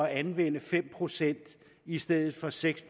anvende fem procent i stedet for seks